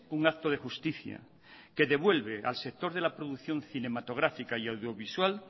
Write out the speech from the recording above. un acto de justicia que devuelve al sector de la producción cinematográfica y audiovisual